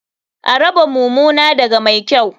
A raba mumuna daga mai kyau.